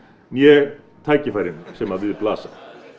né tækifærin sem við blasa